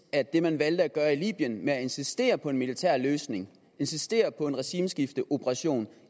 af det man valgte at gøre i libyen med at insistere på en militær løsning insistere på en regimeskifteoperation